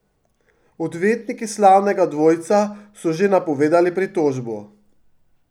Odvetniki slavnega dvojca so že napovedali pritožbo.